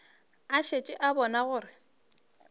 a šetše a bone gore